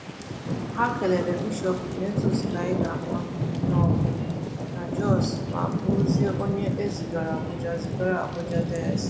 Ha kelere Bishop Ignatius Kaigama nọbu na Jos ma bụrụzịa onye e zigara Abuja zigara Abuja dayọsis.